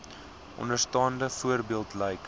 onderstaande voorbeeld lyk